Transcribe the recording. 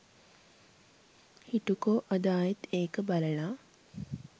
හිටුකෝ අද ආයෙත් ඒක බළලා